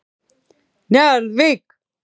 Njarðvík